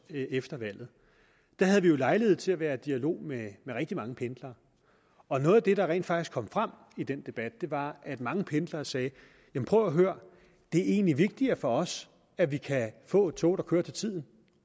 efter valget havde vi jo lejlighed til at være i dialog med rigtig mange pendlere og noget af det der rent faktisk kom frem i den debat var at mange pendlere sagde prøv at høre det er egentlig vigtigere for os at vi kan få et tog der kører til tiden